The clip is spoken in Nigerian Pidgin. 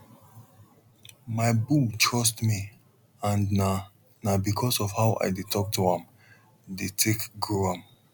my bull trust me and na na because of how i dey talk to am dey take grow am